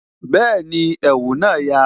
Bẹẹni, ẹ̀wù na ya